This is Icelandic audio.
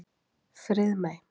Friðmey